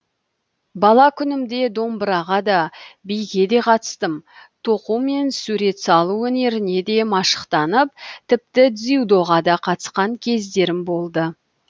бала күнімде домбыраға да биге де қатыстым тоқу мен сурет салу өнеріне де машықтанып тіпті дзюдоға да қатысқан кездерім болды